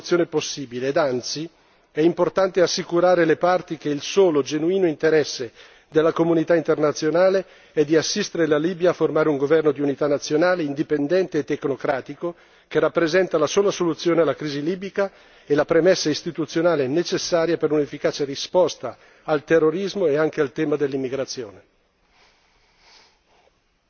Il dialogo politico resta la sola soluzione possibile e, anzi, è importante assicurare le parti che il solo, genuino interesse della comunità internazionale è di assistere la Libia a formare un governo di unità nazionale indipendente e tecnocratico, che rappresenta la sola soluzione alla crisi libica e la premessa istituzionale necessaria per un'efficace risposta al terrorismo e anche al tema dell'immigrazione.